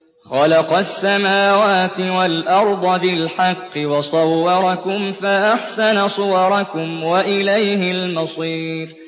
خَلَقَ السَّمَاوَاتِ وَالْأَرْضَ بِالْحَقِّ وَصَوَّرَكُمْ فَأَحْسَنَ صُوَرَكُمْ ۖ وَإِلَيْهِ الْمَصِيرُ